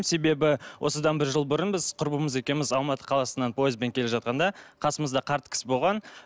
себебі осыдан бір жыл бұрын біз құрбымыз екеуміз алматы қаласынан пойызбен келе жатқанда қасымызда қарт кісі болған